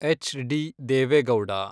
H D Deve Gowda